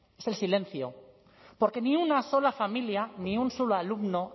es el silencio porque ni una sola familia ni un solo alumno